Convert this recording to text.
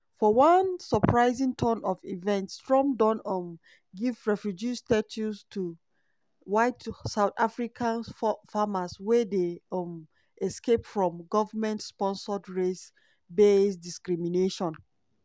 for one surprising turn of events trump don um give refugee status to white south african farmers wey dey um "escape from goment sponsored race-based discrimination".